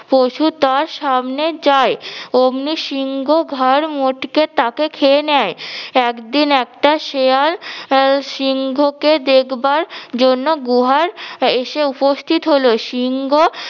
পশু তার সামনে যায় ওমনি সিংহ ঘাড় মটকে তাকে খেয়ে নেয় একদিন একটা শেয়াল সিংহকে দেখবার জন্য গুহার এসে উপস্থিত হলো, সিংহ